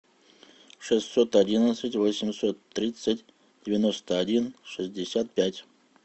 шестьсот одиннадцать восемьсот тридцать девяносто один шестьдесят пять